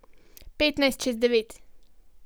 Petnajst čez devet.